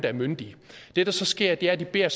er myndige det der så sker er at de beder